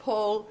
og